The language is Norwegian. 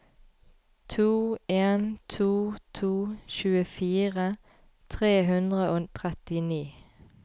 to en to to tjuefire tre hundre og trettini